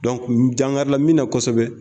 ni dankari la min na kosɛbɛ